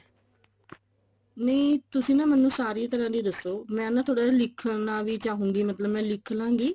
ਨਹੀਂ ਤੁਸੀਂ ਨਾ ਮੈਨੂੰ ਸਾਰਿਆ ਤਰ੍ਹਾਂ ਦੀ ਦੱਸੋ ਮੈਂ ਨਾ ਥੋੜਾ ਜਾ ਨਾ ਲਿਖਣਾ ਵੀ ਚਾਹੂੰਗੀ ਮਤਲਬ ਲਿਖ ਲਾਂਗੀ